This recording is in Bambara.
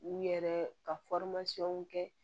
U yɛrɛ ka kɛ